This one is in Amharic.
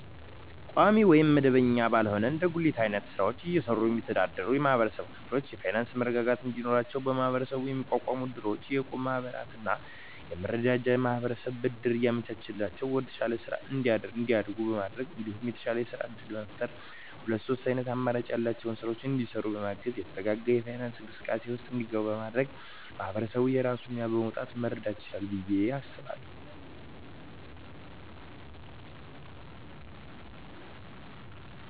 ቋሚ ወይም መደበኛ ባልሆነ እንደ ጉሊት አይነት ስራወችን እየሰሩ የሚስተዳደሩ የማህበረሰብ ክፍሎች የፋይናንሰ መረጋጋት እንዲኖራቸው በመሀበረሰቡ የሚቋቋሙ እድሮች፣ የእቁብ ማህበራትና የመረዳጃ ማህበራት ብድር እያመቻቸላቸው ወደተሻለ ስራ እንዲያድጉ በማድረግ እንዲሁም የተሻለ የስራ እድል በመፍጠርና ሁለት ሶስት አይነት አማራጭ ያላቸውን ስራወች እንዲሰሩ በማገዝ የተረጋጋ የፋይናንስ እንቅስቃሴ ውስጥ እንዲገቡ በማድረግ ማህበረሰቡ የራሱን ሚና በመወጣት መርዳት ይችላል ብየ አስባለሁ።